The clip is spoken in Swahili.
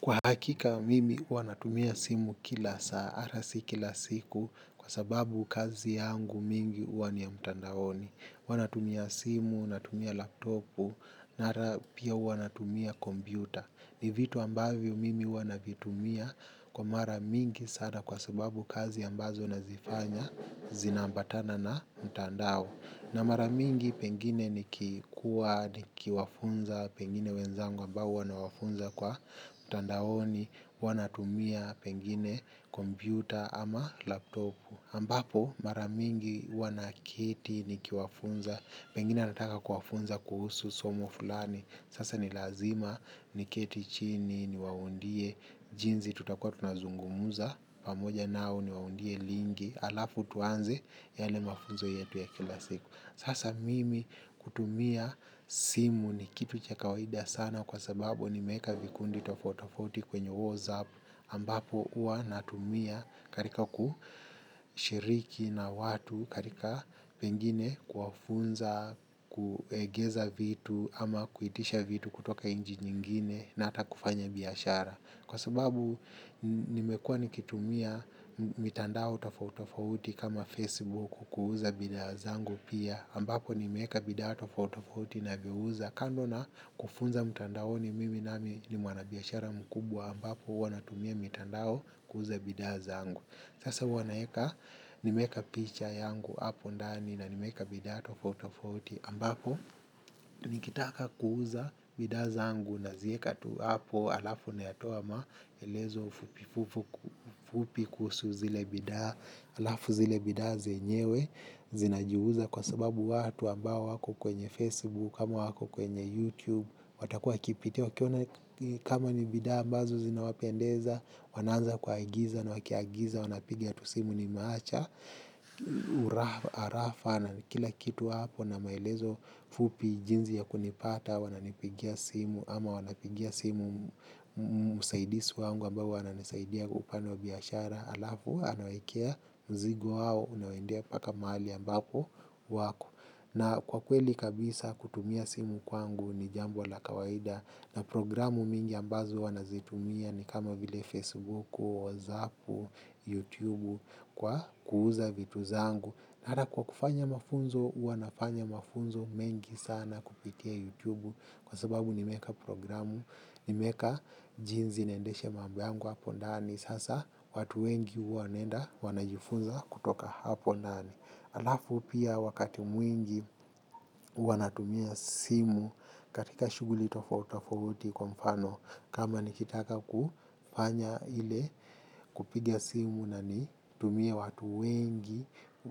Kwa hakika mimi hua natumia simu kila saa, arasi kila siku, kwa sababu kazi yangu mingi hua ni ya mtandaoni. Huanatumia simu, natumia laptopu, na arapia huanatumia kombiuta. Ni vitu ambavyo mimi huanavitumia kwa mara mingi sana kwa sababu kazi ambazo nazifanya zinambatana na mtandao. Na maramingi pengine nikikua, nikikiwafunza, pengine wenzangu ambao huanawafunza kwa mtandaoni, huanatumia pengine kombiuta ama laptopu. Ambapo maramingi huwa naketi nikiwafunza, pengine anataka kuwafunza kuhusu, somo fulani, sasa ni lazima, niketi chini, ni wawaundie, jinzi tutakua tuna zungumuza, pamoja nao ni waundie lingi alafu tuanze yale mafunzo yetu ya kila siku sasa mimi kutumia simu ni kitu cha kawaida sana kwa sababu nimeka vikundi tofautitofauti kwenye whatsapp ambapo ua natumia karika kushiriki na watu karika pengine kwafunza, kuegeza vitu ama kuitisha vitu kutoka nji nyingine na ata kufanya biashara. Kwa sababu nimekua nikitumia mitandao tofautofauti kama Facebook kuuza bidhaa zangu pia ambapo nimeka bidato tofautafauti na vyouza kando na kufunza mitandaoni mimi nami ni mwanabiashara mkubwa ambapo huanatumia mitandao kuuza bidhaa zangu. Sasa huanaeka nimeka picha yangu hapo ndani na nimeeka bidhaa tofauti tofauti ambapo nikitaka kuuza bidhaa zangu na zieka tu hapo alafu nayatoa maelezo fupi kusu zile bida alafu zile bida zenyewe zina jiuza kwa sababu watu ambao wako kwenye Facebook kama wako kwenye YouTube watakuwa kipitia wakiona kama ni bidaa ambazo zina wapendeza wanaanza kuagiza na wakiagiza wanapigia tusimu ni maacha arafa na kila kitu hapo na maelezo fupi jinzi ya kunipata wananipigia simu ama wanapigia simu musaidisi wangu ambao huananisaidia upande wa biashara alafu anawaekea mzigo wao unawendea paka mahali ambapo wako. Na kwa kweli kabisa kutumia simu kwangu ni jambo aa kawaida na programu mingi ambazo wanazitumia ni kama bile Facebook, WhatsApp, YouTube kwa kuuza vitu zangu. Nara kwa kufanya mafunzo, huanafanya mafunzo mengi sana kupitia YouTube kwa sababu nimeeka programu, nimeka jinzi naendesha mambo yangu hapo ndani. Sasa watu wengi huawanenda, wanajifunza kutoka hapo ndani. Alafu pia wakati mwingi, huwanatumia simu katika shuguli tofauti tofauti kwa mfano. Kama nikitaka kufanya ile kupigia simu na ni tumie watu wengi,